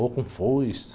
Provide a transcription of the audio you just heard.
Ou com foice.